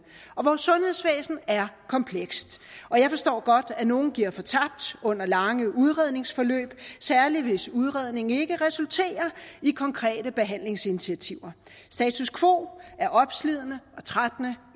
og vores sundhedsvæsen er komplekst jeg forstår godt at nogle giver fortabt under lange udredningsforløb særlig hvis udredningen ikke resulterer i konkrete behandlingsinitiativer status quo er opslidende og trættende